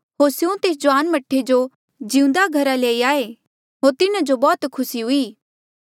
होर स्यों तेस जुआन मह्ठे जो जिउंदा घरा लई आये होर तिन्हा जो बौह्त खुसी हुई